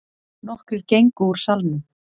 Nokkrir gengu úr salnum.